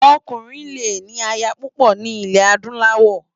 Òkúrin lé ni àyá púpò ni ilè ádúláwò